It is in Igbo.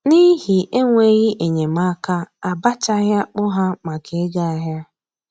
N'ihi enweghị enyemaka, a bachaghị akpụ ha maka ịga ahịa